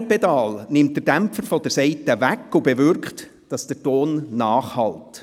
Das andere Pedal nimmt den Dämpfer von der Saite weg und bewirkt, dass der Ton nachhallt.